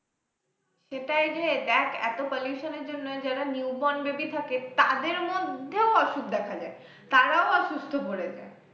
সেটাইরে দেখ এত pollution র জন্য যারা new born baby থাকে তাদের মধ্যেও অসুখ দেখা যায় তারাও অসুস্থ পড়ে যায়।